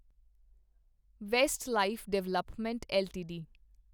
Westlife development LTD